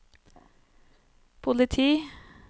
politi